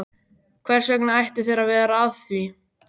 Hvers vegna ættu þeir að vera að því?